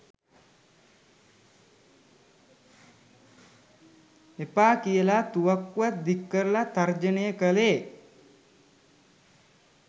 එපා කියලා තුවක්කුවක් දික්කරලා තර්ජනය කළේ.